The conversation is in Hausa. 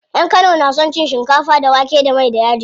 Yan kano na son cin shinkafa da wake da mai da yaji.